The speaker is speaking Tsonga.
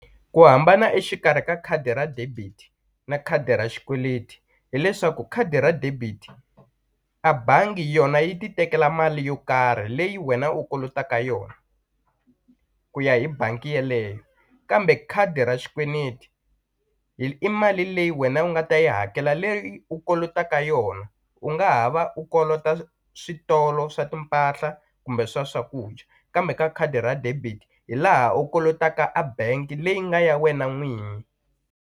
Ku hambana exikarhi ka khadi ra debit na khadi ra xikweleti hileswaku khadi ra debit a bangi yona yi ti tekela mali yo karhi leyi wena u kolotaka yona ku ya hi bangi yeleyo kambe khadi ra xikweleti hi i mali leyi wena u nga ta yi hakela leyi u kolotaka yona u nga ha va u kolota switolo swa timpahla kumbe swa swakudya kambe ka khadi ra debit hi laha u kolotaka a bengi leyi nga ya wena n'wini.